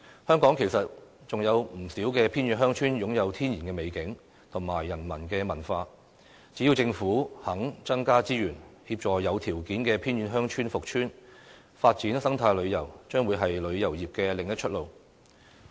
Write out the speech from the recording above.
香港其實還有不少偏遠鄉村擁有天然美景及人文文化，只要政府肯增加資源，協助有條件的偏遠鄉村復村，發展生態旅遊將會是旅遊業的另一條出路。